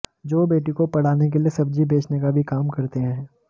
जो बेटी को पढ़ाने के लिए सब्जी बेंचने का भी काम करते हैं